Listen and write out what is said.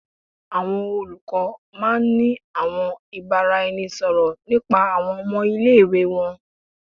Awọn olukọ máà ń ní àwọn ìbáraẹnisọ̀rọ̀ nípa àwọn ọmọ ile-iwe wọn